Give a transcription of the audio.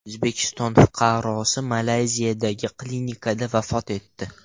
O‘zbekiston fuqarosi Malayziyadagi klinikada vafot etdi.